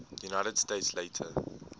united states later